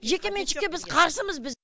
жеке меншікке біз қарсымыз біз